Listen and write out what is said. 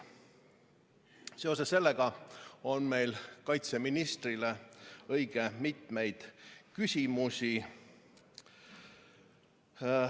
Seoses sellega on meil kaitseministrile õige mitmeid küsimusi.